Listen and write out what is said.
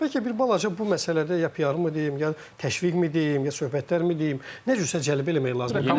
Bəlkə bir balaca bu məsələdə ya PR-ımı deyim, ya təşviqmi deyim, ya söhbətlərmi deyim, nə cürsə cəlbə eləmək lazımdır.